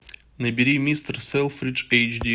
набери мистер селфридж эйч ди